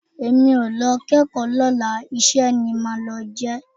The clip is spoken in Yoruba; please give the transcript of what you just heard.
Èmi ò lọ kẹ́kọ̀ọ́ lọ́la iṣẹ́ ni màá lọ jẹ́